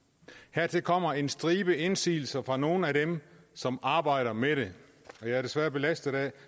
hertil kommer en stribe indsigelser fra nogle af dem som arbejder med det jeg er desværre belastet af